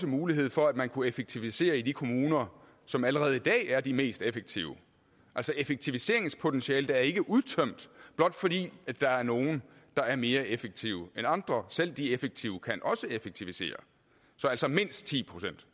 mulighed for at man kunne effektivisere i de kommuner som allerede i dag er de mest effektive effektiviseringspotentialet er ikke udtømt blot fordi der er nogen der er mere effektive end andre selv de effektive kan også effektivisere så altså mindst ti procent